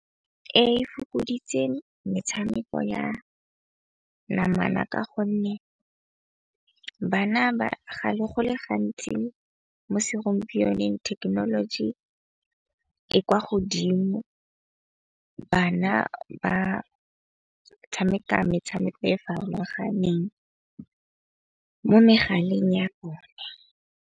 E fokoditse metshameko ya namana ka gonne bana go le gantsi bosigong thekenoloji e kwa godimo. Bana ba tshameka metshameko e farologaneng mo megaleng ya bone.